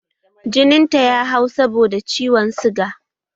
Jinin ta ya hau saboda ciwon suga